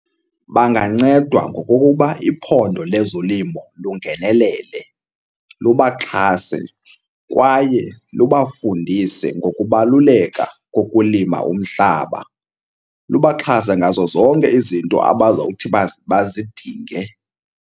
Bangancedwa ngokokuba iphondo lezolimo lungenelele lubaxhase kwaye lubafundise ngokubaluleka kokulima umhlaba. Lubaxhase ngazo zonke izinto abazawuthi bazidinge.